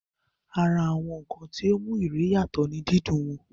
Ara àwọn ǹkan tí ó mú ìrẹ̀ yàtọ̀ ní dídún wọn